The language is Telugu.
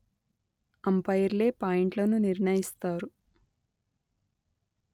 అంపైర్లే పాయింట్లను నిర్ణయిస్తారు